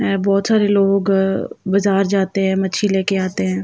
ऐं बहुत सारे लोग बाजार जाते हैं मच्छी लेके आते हैं।